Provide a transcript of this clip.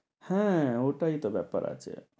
হ্যাঁ ওটাই তো ব্যাপার আছে।